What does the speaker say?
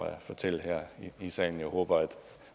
at fortælle her i salen jeg håber at